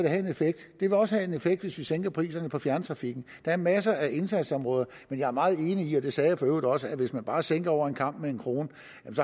have en effekt det vil også have en effekt hvis vi sænker priserne på fjerntrafikken der er masser af indsatsområder men jeg er meget enig i og det sagde jeg for øvrigt også at hvis man bare sænker priserne over en kam med en krone